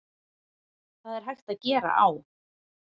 Það er hægt að gera á